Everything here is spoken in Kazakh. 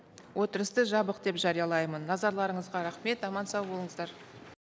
отырысты жабық деп жариялаймын назарларыңызға рахмет аман сау болыңыздар